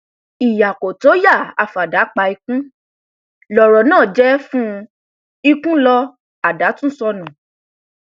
ìyá kò tó ìyá àfádà pa ikùn lọrọ náà sì jẹ fún un ikùn ló àdá tún sọnù